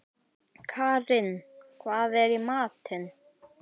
Karin, hvað er í matinn?